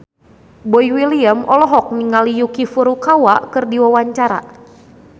Boy William olohok ningali Yuki Furukawa keur diwawancara